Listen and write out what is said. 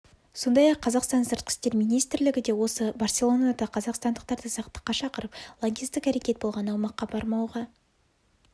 сондай-ақ қазақстан сыртқы істер министрлігі де осы барселонада қазақстандықтарды сақтыққа шақырып лаңкестік әрекет болған аумаққа бармауға